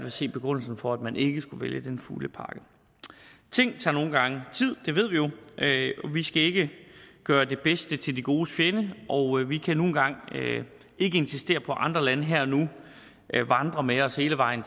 at se begrundelsen for at man ikke skulle vælge den fulde pakke ting tager nogle gange tid det ved vi jo vi skal ikke gøre det bedste til det godes fjende og vi kan nu en gang ikke insistere på at andre lande her og nu vandrer med os hele vejen